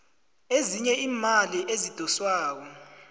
ezinye iimali ezidoswako